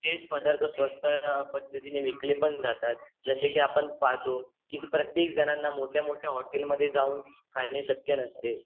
तेच पदार्थ स्वस्त पद्दतीने विकले पण जातात जसे की आपण पहातो कि प्रयेक जणांना मोठ्या मोठ्या हॉटेलं मध्ये जाऊन खाणे शक्य नसते